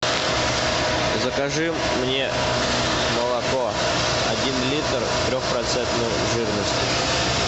закажи мне молоко один литр трехпроцентной жирности